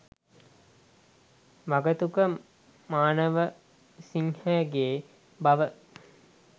වගතුග මානවසිංහගේ බව